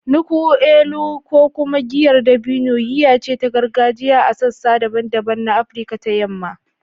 “Nkwu elu,” ko kuma giyar dabino, giya ce ta gargajiya a sassa daban-daban na Afirka ta Yamma.